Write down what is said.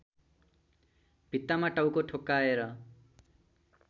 भित्तामा टाउको ठोक्काएर